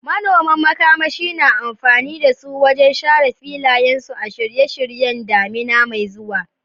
Manoman makamashi na amfani da su wajen share filayensu a shirye-shiryen damina mai zuwa.